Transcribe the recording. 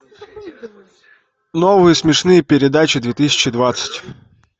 новые смешные передачи две тысячи двадцать